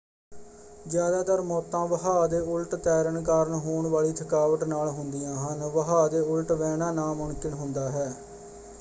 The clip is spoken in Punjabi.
ਜਿਆਦਾਤਰ ਮੌਤਾਂ ਵਹਾਅ ਦੇ ਉਲਟ ਤੈਰਨ ਕਾਰਨ ਹੋਣ ਵਾਲੀ ਥਕਾਵਟ ਨਾਲ ਹੁੰਦੀਆਂ ਹਨ ਵਹਾਅ ਦੇ ਉਲਟ ਵਹਿਣਾ ਨਾਮੁਮਕਿਨ ਹੁੰਦਾ ਹੈ।